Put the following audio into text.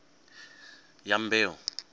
dyambeu